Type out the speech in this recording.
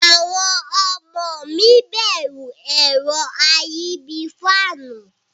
Awon omo mi beru ero ayi bii faanu.